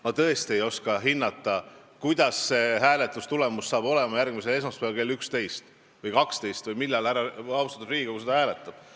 Ma tõesti ei oska hinnata, milline on see hääletustulemus järgmisel esmaspäeval kell 11 või 12 või millal austatud Riigikogu seda hääletab.